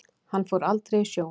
Hann fór aldrei í sjóinn.